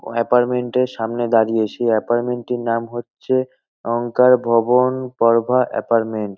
Apartment -এর সামনে দাঁড়িয়ে। সে এপার্টমেন্ট -টির নাম হচ্ছে অংকার ভবন গড়ভা এপার্টমেন্ট ।